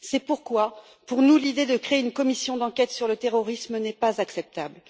C'est pourquoi, pour nous, l'idée de créer une commission d'enquête sur le terrorisme n'est pas acceptable.